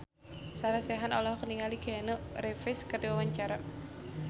Sarah Sechan olohok ningali Keanu Reeves keur diwawancara